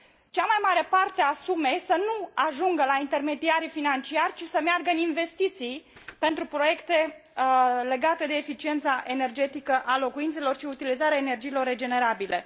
cea mai mare parte a sumei să nu ajungă la intermediarii financiari, ci să meargă în investiții pentru proiecte legate de eficiența energetică a locuințelor și utilizarea energiilor regenerabile.